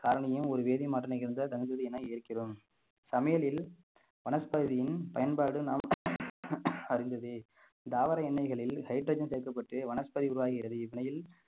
காரணியும் ஒரு வேதி மாற்று நிகழ்ந்த என இருக்கிறோம் சமையலில் வனஸ்பதியின் பயன்பாடு நாம் அறிந்ததே தாவர எண்ணெய்களில் hydrogen சேர்க்கப்பட்டு வனஸ்பதியின் உருவாகிறது